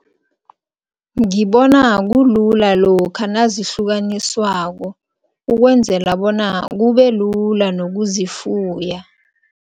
Ngibona kulula lokha nazihlukaniswako, ukwenzela bona kubelula nokuzifuya.